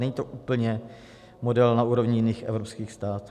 Není to úplně model na úrovni jiných evropských států.